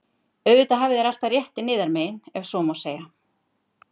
Auðvitað hafið þér alltaf réttinn yðar megin,- ef svo má segja.